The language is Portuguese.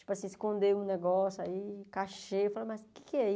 Tipo assim, esconder um negócio aí, cachê, eu falava, mas o que é